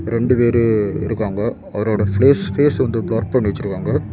ரெண்டு பேரு இருக்காங்க அவரோட ஃபேஸ் பேஸ் வந்து பிளர் பண்ணி வச்சிருக்காங்க.